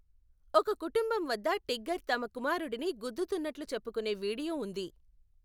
ఒక కుటుంబం వద్ద టిగ్గర్ తమ కుమారుడిని గుద్దుతున్నట్లు చెప్పుకునే వీడియో ఉంది.